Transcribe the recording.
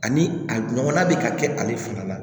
Ani a ɲɔgɔnna bɛ ka kɛ ale fana la